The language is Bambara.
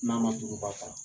N'an ma suguba ta